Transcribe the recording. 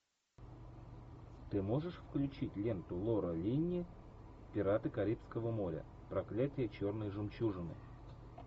ты можешь включить ленту лора линни пираты карибского моря проклятие черной жемчужины